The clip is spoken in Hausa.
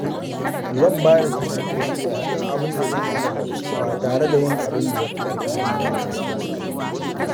Zan bada taimako cikin abinda zan iya ba tare da yin abinda yafi ƙarfina ba.